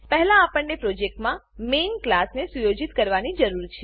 પહેલા આપણને પ્રોજેક્ટનાં મેઇન ક્લાસ મેઈન ક્લાસ ને સુયોજિત કરવાની જરૂર છે